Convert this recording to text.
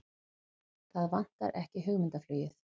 Það vantar ekki hugmyndaflugið!